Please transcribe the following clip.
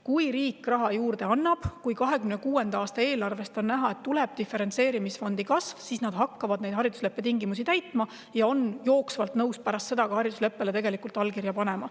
Kui riik raha juurde annab, kui 2026. aasta eelarves on näha diferentseerimisfondi kasvu, siis nad hakkavad neid haridusleppe tingimusi täitma ja on nõus pärast seda ka haridusleppele allkirja panema.